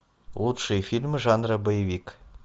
лучшие фильмы жанра боевик